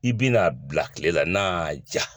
I bi na bila kile la n'a ja.